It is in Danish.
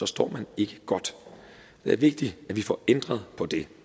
står man ikke godt det er vigtigt at vi får ændret på det